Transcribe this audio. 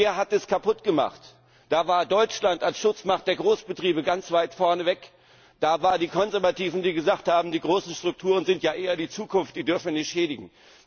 Wer hat das kaputt gemacht? Da war Deutschland als Schutzmacht der Großbetriebe ganz weit vorne weg. Da waren die Konservativen, die gesagt haben Die großen Strukturen sind ja eher die Zukunft, die dürfen wir nicht schädigen.